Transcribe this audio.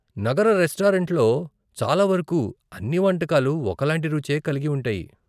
నగర రెస్టారెంట్లో చాలా వరకు, అన్ని వంటకాలు ఒకలాంటి రుచే కలిగి ఉంటాయి.